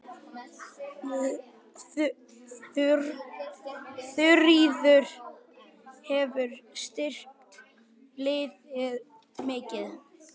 Þuríður hefur styrkt liðið mikið.